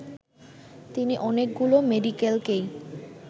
তিনি অনেকগুলো মেডিকেলকেই